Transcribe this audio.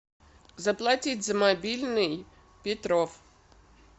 заплатить за мобильный петров